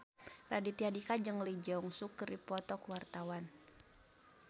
Raditya Dika jeung Lee Jeong Suk keur dipoto ku wartawan